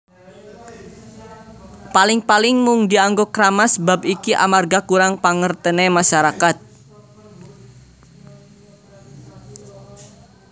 Paling paling mung dianggo kramas Bab iki amarga kurang pangertene masyarakat